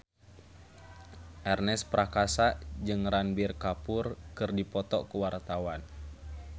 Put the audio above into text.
Ernest Prakasa jeung Ranbir Kapoor keur dipoto ku wartawan